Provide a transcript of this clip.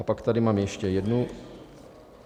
A pak tady mám ještě jednu.